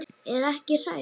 Er ekki hrædd lengur.